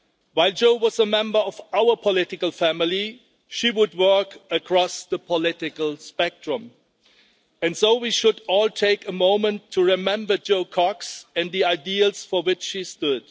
While Jo was a member of our political family, she would work across the political spectrum, and so we should all take a moment to remember Jo Cox and the ideals for which she stood.